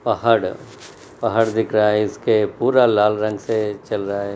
पहाड़ पहाड़ दिख रहा है इसके पूरा लाल रंग से चल रहा है।